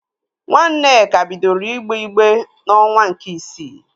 Nwa Nneka bidoro igbe igbe n'onwa nke isii